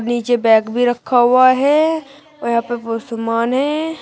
नीचे बैग भी रखा हुआ है और यहां पे बहोत समान है।